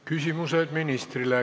Küsimused ministrile.